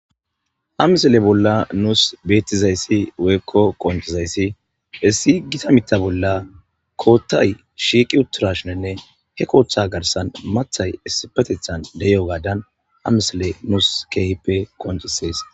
Ha misile bolla nuus beettizayssi woykko qonccizayssi issi gitta miiththa bolla koottay shiiqi uttirashinenne he kooththa garssan maaththay issipetethan de'iyogaadan ha misele nuus keehippe qonccises